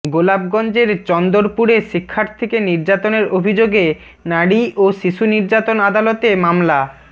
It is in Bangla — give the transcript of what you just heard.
গোলাপগঞ্জের চন্দরপুরে শিক্ষার্থীকে নির্যাতনের অভিযোগে নারী ও শিশু নির্যাতন আদালতে মামলা